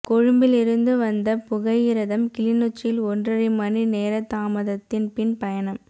கொழும்பிலிருந்து வந்த புகையிரதம் கிளிநொச்சியில் ஒன்றரை மணிநேரத்தாமதத்தின் பின் பயணம்